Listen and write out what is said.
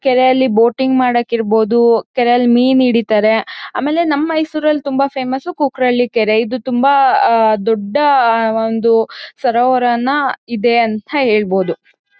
ಕೆರೆಯಲ್ಲಿ ಬೋಟಿಂಗ್ ಮಾಡೋಕ್ ಇರ್ಬಹುದು. ಕೆರೆಯಲ್ಲಿ ಮೀನ್ ಹಿಡೀತಾರೆ. ಆಮೇಲೆ ನಮ್ ಮೈಸೂರಲ್ ತುಂಬಾ ಫೇಮಸ್ ಕುಕ್ರಳ್ಳಿ ಕೆರೆ. ಇದು ತುಂಬಾ ಆಹ್ಹ್ ದೊಡ್ಡ ಆಹ್ಹ್ ಒಂದು ಸರೋವರನ ಇದೆ ಅಂಥ ಹೇಳ್ಬಹುದು.